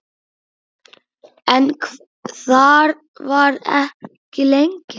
En þar var ekki lengi.